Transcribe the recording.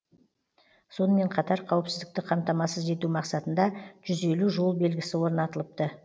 сонымен қатар қауіпсіздікті қамтамасыз ету мақсатында жүз елу жол белгісі орнатылыпты